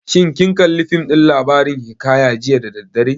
Shin kin kalli fim ɗin labarin hiƙaya jiya da daddare?